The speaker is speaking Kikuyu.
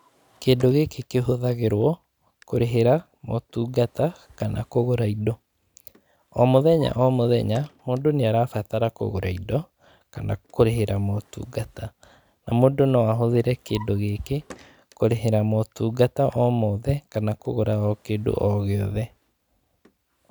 Kĩndũ gĩkĩ kĩhũthagĩrwo, kũrĩhĩra motungata, kana kũgũra indo. O mũthenya o mũthenya, mũndũ nĩarabatara kũgũra indo, kana kũrĩhĩra motungata, na mũndũ no ahũthĩre kĩndũ gĩkĩ kũrĩhĩra motungata o mothe, kana kũgũra o kĩndũ o gĩothe.